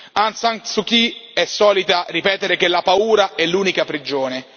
Aung San Suu Kyi è solita ripetere che la paura è l'unica prigione.